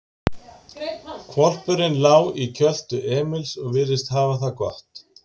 Hvolpurinn lá í kjöltu Emils og virtist hafa það gott.